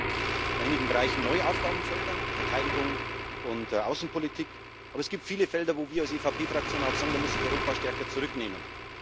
Wir sehen in einigen Bereichen neue Aufgabenfelder Verteidigung und Außenpolitik aber es gibt viele Fälle, wo wir als EVP Fraktion auch sagen Da muss sich Europa stärker zurücknehmen.